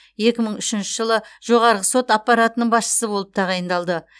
екі мың үшінші жылы жоғарғы сот аппаратының басшысы болып тағайындалды